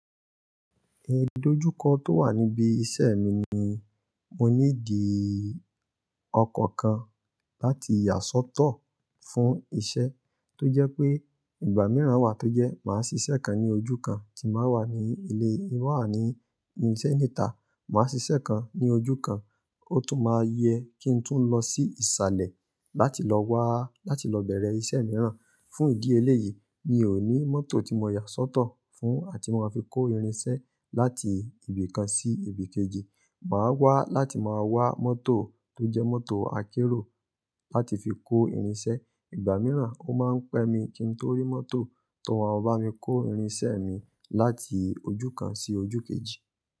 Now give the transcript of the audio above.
Ní ìdojúkọ tó wà níbi iṣẹ́ mi ni mo ní di ọkọ̀ kan láti yà sọ́tọ̀ fún iṣẹ́ tó jẹ́ pé ìgbà mìíràn wà tó jẹ́ màá ṣiṣẹ́ kan ní ojú kan tí màá wà ní ilé, tin ba wà ní ise níta. Màá ṣiṣẹ́ kan ní ojú kan, ó tún máa yẹ́ kí n tún lọ sí ìsàlẹ̀ láti lọ wá, láti lọ bẹ̀rẹ̀ iṣẹ́ mìíràn. Fún ìdí eléyìí, mi ò ní mọ́tò tí màá yà sọ́tọ̀ fún àti máa fi kó irinṣẹ́ láti ibì kan sí ibì kejì. Màá wá láti máa wá mọ́tò tó jẹ́ mọ́tò akẹ́ro láti fi kó irinṣẹ́. Ìgbà mìíràn ó máa ń pẹ́ mi kí n tó rí mọ́tò tó máa bá mi kó irinṣẹ́ mi láti ojú kan sí ojú kejì.